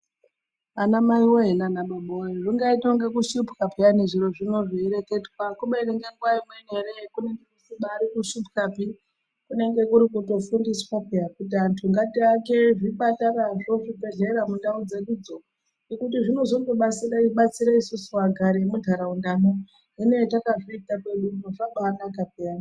Anamai voye nanababa voye zvingaite kunga kushupwa peyani zviro zvino zveireketwa. Kubeni ngenguva imweni ere kunenge kusibari kushupwapi kunenge kuri kutofundiswa peya kuti antu ngaake zvipatarazvo, zvibhedhlera mundau dzedudzo. Nekuti zvinozondobatsira isusu vagari vemuntaraundamo zvine zvatakazviita pedupo zvabanaka peyani.